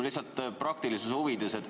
Lihtsalt praktilisuse huvides küsin.